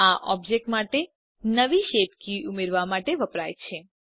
આ ઓબ્જેક્ટ માટે નવી શેપ કી ઉમેરવા માટે વપરાય છે